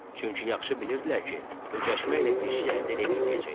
Çünki yaxşı bilirdilər ki, öcəşməklə bir şey əldə eləyə bilməyəcəklər.